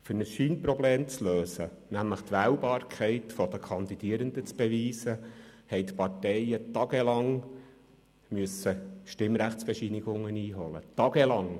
Um ein Scheinproblem zu lösen, nämlich die Wählbarkeit der Kandidierenden zu beweisen, mussten die Parteien tagelang Stimmrechtsbescheinigungen einholen – tagelang!